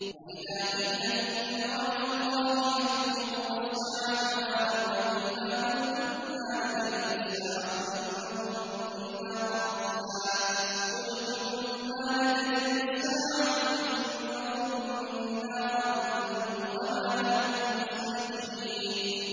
وَإِذَا قِيلَ إِنَّ وَعْدَ اللَّهِ حَقٌّ وَالسَّاعَةُ لَا رَيْبَ فِيهَا قُلْتُم مَّا نَدْرِي مَا السَّاعَةُ إِن نَّظُنُّ إِلَّا ظَنًّا وَمَا نَحْنُ بِمُسْتَيْقِنِينَ